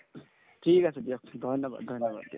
ঠিক আছে দিয়ক ধন্যবাদ ধন্যবাদ দিয়াক